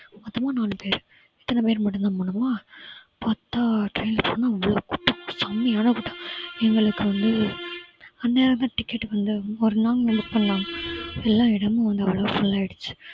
மொத்தமா நாலு பேரு இத்தனை பேர் மட்டும் தான் போனோமா பார்த்தா train ல போனா அவ்வளவு கூட்டம் செம்மையான கூட்டம் எங்களுக்கு வந்து அநியாயமா ticket வந்து ஒரு நாள்க்கு முன்னாடி book பண்ணோம் எல்லா இடமும் வந்து அவ்வளவா full ஆயிடுச்சு